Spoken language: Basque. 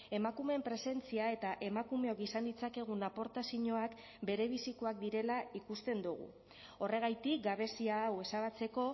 emakumeen presentzia eta emakumeok izan ditzakegun aportazioak berebizikoak direla ikusten dugu horregatik gabezia hau ezabatzeko